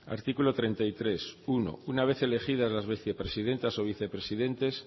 artículo treinta y tres uno una vez elegidas las vicepresidentas o vicepresidentes